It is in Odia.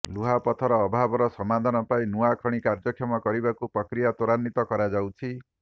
ଲୁହାପଥର ଅଭାବର ସମାଧାନ ପାଇଁ ନୂଆ ଖଣି କାର୍ଯ୍ୟକ୍ଷମ କରିବାକୁ ପ୍ରକ୍ରିୟା ତ୍ୱରାନ୍ୱିତ କରାଯାଉଛି